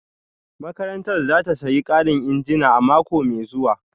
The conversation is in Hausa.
Makarantar za ta sayi karin injina a mako mai zuwa